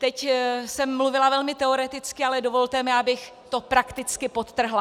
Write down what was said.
Teď jsem mluvila velmi teoreticky, ale dovolte mi, abych to prakticky podtrhla.